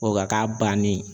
O ka k'a bannen